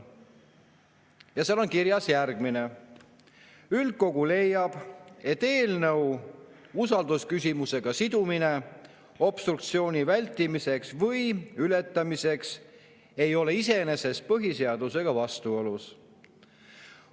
Ja seal on kirjas järgmine: "Üldkogu leiab, et eelnõu usaldusküsimusega sidumine obstruktsiooni vältimiseks või ületamiseks ei ole iseenesest põhiseadusega vastuolus.